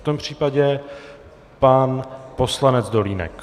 V tom případě pan poslanec Dolínek.